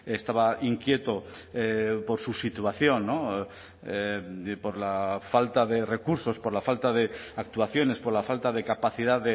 estaba inquieto por su situación por la falta de recursos por la falta de actuaciones por la falta de capacidad